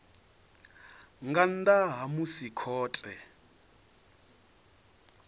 nga nnḓa ha musi khothe